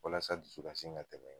Walasa dusukasi in ka tɛmɛ.